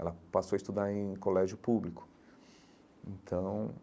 Ela passou a estudar em colégio público então.